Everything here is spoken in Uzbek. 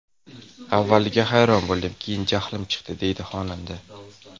Avvaliga hayron bo‘ldim, keyin jahlim chiqdi”, deydi xonanda.